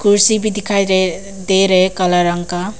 कुर्सी भी दिखाई दे दे रहे काले रंग का।